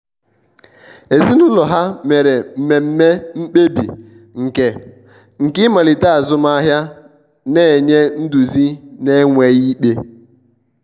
ezinụlọ ha mere mmeme mkpebi nke nke imalite azụmahiana-enye nduzi n'enweghi ikpe.